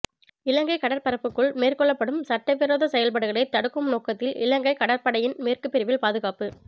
இலங்கை கடற்பரப்புக்குள் மேற்கொள்ளப்படும் சட்டவிரோத செயற்பாடுகளை தடுக்கும் நோக்கத்தில் இலங்கை கடற்படையின் மேற்கு பிரிவில் பாதுகாப்பு